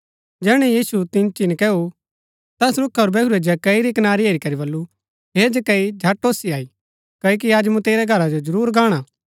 जैहणै यीशु तिन्ची नकैऊ ता तैस रूखा पुर बैहुरै जक्कई री कनारी हेरी करी वलु हे जक्कई झट ओसी अई क्ओकि अज मूँ तेरै घरा जो जरूर गाणा